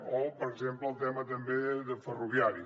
o per exemple el tema ferroviari